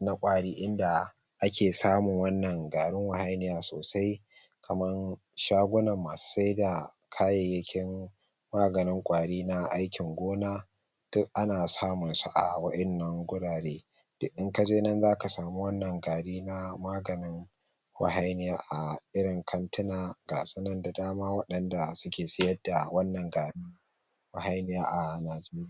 na ƙwari inda ake samun wannan garin wahainiya sosai kaman shagungunan masu sai da kayayyakin maganin ƙwari na aikin gona duk ana samun su a wa'innan gurare duk in kaje nan zaka samu wannan gari na maganin wahainiya a irin kantina gasu nan da dama waɗanda suke siyar da wannan garin wahainiya a najeriya.